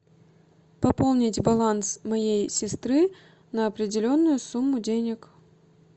пополнить баланс моей сестры на определенную сумму денег